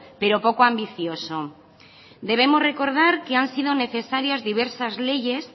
pero poco ambicioso debemos recordar que han sido necesarias diversas leyes